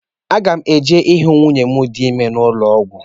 Aga m eje hụ nwunye m dị ime n'ụlọọgwụ.